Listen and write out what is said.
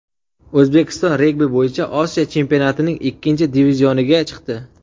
O‘zbekiston regbi bo‘yicha Osiyo chempionatining ikkinchi divizioniga chiqdi.